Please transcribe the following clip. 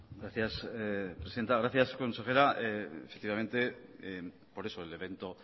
gracias presidenta gracias consejera efectivamente por eso el evento